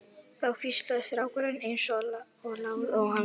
Þá hvíslaði strákurinn eins og lágt og hann gat